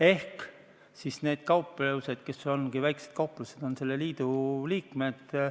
Ehk need kauplused, kes ongi väiksed kauplused, on selle liidu liikmed.